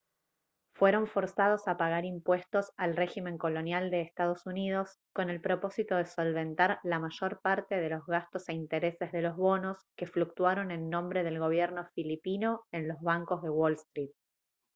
fueron forzados a pagar impuestos al régimen colonial de ee uu con el propósito de solventar la mayor parte de los gastos e intereses de los bonos que fluctuaron en nombre del gobierno filipino en los bancos de wall street